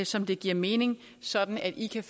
som det giver mening sådan at de kan